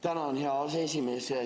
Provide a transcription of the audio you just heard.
Tänan, hea aseesimees!